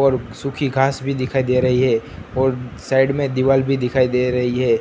और सूखी घास भी दिखाई दे रही है और साइड में दीवाल भी दिखाई दे रही है।